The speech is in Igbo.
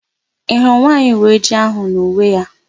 Ị hụrụ nwaanyị uweojii áhụ̀ n'uwe ya?